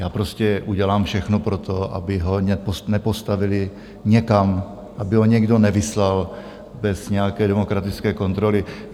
Já prostě udělám všechno pro to, aby ho nepostavili někam, aby ho někdo nevyslal bez nějaké demokratické kontroly.